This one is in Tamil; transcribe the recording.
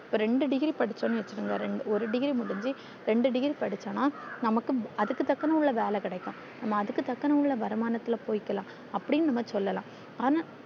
ரெண்டு degree படிச்சொன்னு வச்சிகொங்க ரெண்ட ஒரு degree முடிச்சி ரெண்டு degree படிச்சொன்னா நமக்கு அதுக்கு தக்குன உள்ள வேலை கிடைக்கும் நம்ம அதுக்கு தக்குன உள்ள வருமானத்துள்ள போய்கில்லா அப்டின்னு நம்ம சொல்லல்லாம் ஆனா